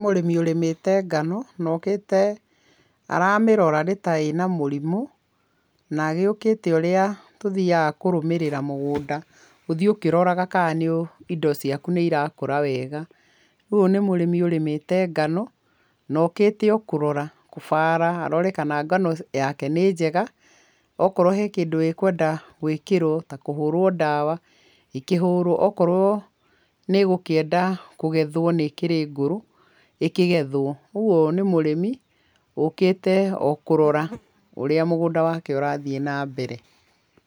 Mũrĩmi ũrĩmĩte ngano nokĩte aramĩrora nĩ ta ĩna mũrĩmũ. Nayũkĩte ũrĩa tũthiaga kũrũmĩrĩra mũgũnda. Gũthiĩ ũkĩroraga kana indo ciaku nĩirakũra wega. Rĩu ũyũ nĩ mũrĩmi ũrĩmĩte ngano naokĩte kũrora, kũbara, arore kana ngano yake nĩ njega, okorwo he kĩndũ ĩkwenda gũĩkĩrwo ta kũhũrwo ndawa, ĩkĩhũrwo. Okorwo nĩgũkĩenda kũgethwo nĩĩkĩrĩ ngũrũ, ĩkĩgethwo, ũguo nĩ mũrĩmi ũkĩte okũrora ũrĩa mũgũnda wake ũrathiĩ na mbere.